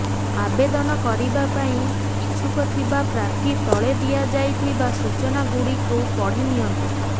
ଆବେଦନ କରିବା ପାଇଁ ଇଛୁକ ଥିବା ପ୍ରାର୍ଥୀ ତଳେ ଦିଆଯାଇ ଥିବା ସୂଚନା ଗୁଡିକୁ ପଢିନିଅନ୍ତୁ